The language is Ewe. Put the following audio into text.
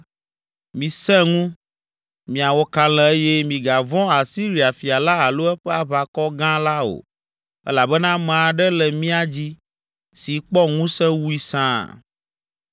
“Misẽ ŋu, miawɔ kalẽ eye migavɔ̃ Asiria fia la alo eƒe aʋakɔ gã la o elabena ame aɖe le mía dzi si kpɔ ŋusẽ wui sãa!